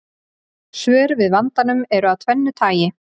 Svör við vandanum eru af tvennu tagi.